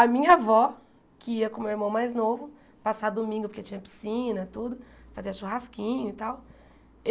A minha avó, que ia com o meu irmão mais novo, passar domingo porque tinha piscina, tudo, fazer churrasquinho e tal.